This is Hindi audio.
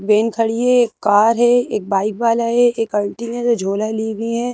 वैन खड़ी है एक कार है एक बाइक वाला है एक आंटी ने जो झोला लिए हुई हैं।